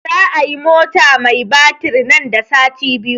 Za a yi mota mai batir nan da sati biyu